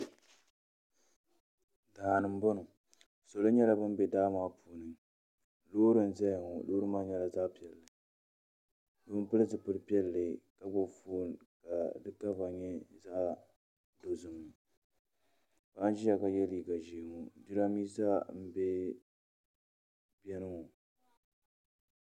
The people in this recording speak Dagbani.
Daani n boŋo salo nyɛla bin bɛ daa maa puuni loori n ʒɛya ŋo loori maa nyɛla zaɣ piɛlli so n pili zipili piɛlli ka gbubi foon ka di kama nyɛ zaɣ dozim paɣa n ʒiya ka yɛ liiga ʒiɛ ŋo jiranbiisa n bɛ kpɛ maa